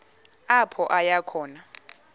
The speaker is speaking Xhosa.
apho aya khona